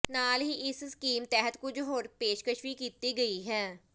ਨਾਲ ਹੀ ਇਸ ਸਕੀਮ ਤਹਿਤ ਕੁਝ ਹੋਰ ਪੇਸ਼ਕਸ਼ ਵੀ ਕੀਤੀ ਗਈ ਹੈ